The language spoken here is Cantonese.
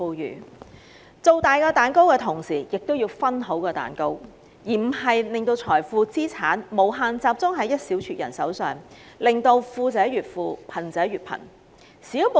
因此，政府在"造大蛋糕"的同時，亦要"分好蛋糕"，而不是讓所有財富及資產集中於一小撮人手上，令富者越富、貧者越貧。